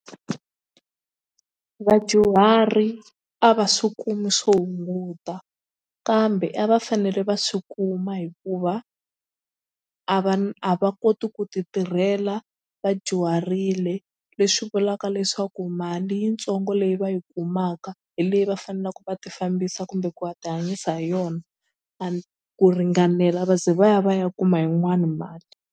Vadyuhari a va swi kumi swo hunguta kambe a va fanele va swi kuma hikuva a va na a va koti ku titirhela vadyuharile leswi vulaka leswaku mali yitsongo leyi va yi kumaka hi leyi va faneleke va tifambisa kumbe ku tihanyisa hi yona ku ringanela va ze va ya va ya kuma yin'wani mali.